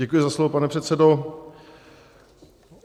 Děkuji za slovo, pane předsedo.